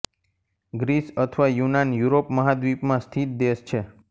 Greece અથવા યૂનાન Europe મહાદ્વીપ માં સ્થિત દેશ છે